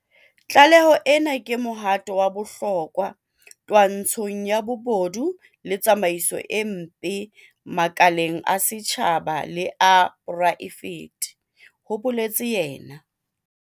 Tlaleho ena ke mohato wa bohlokwa twantshong ya bobodu le tsamaiso e mpe makaleng a setjhaba le a poraefete, ho boletse yena.